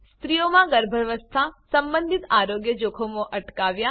સ્ત્રીઓમા ગર્ભાવસ્થા સંબંધિત આરોગ્ય જોખમો અટકાવ્યા